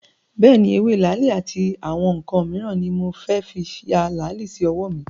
Bẹ́ẹ̀ni, ewé làálì àti àwọn ǹǹkan míràn ni mo fẹ́ fí ya làálì sí ọwọ́ mi